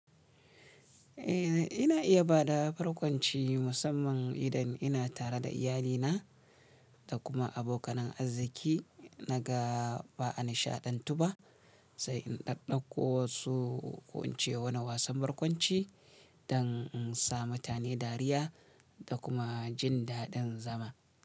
Eh, ina iya ba da barkwanci musamman idan ina tare da iyalina da kuma abokanan arziki. Naga ba a nishaɗantu ba sai in ɗaɗɗauko wasu ko in ce wani wasan barkwanci don in sa mutane dariya da kuma jin daɗin zama.